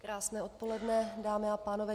Krásné odpoledne, dámy a pánové.